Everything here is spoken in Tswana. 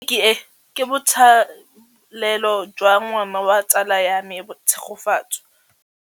Tleliniki e, ke botsalêlô jwa ngwana wa tsala ya me Tshegofatso.